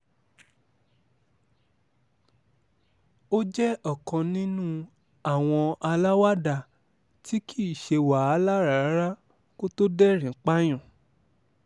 ó jẹ́ ọ̀kan nínú àwọn aláwàdà tí kì í ṣe wàhálà rárá kó tóó dẹ̀rìn-ín pààyàn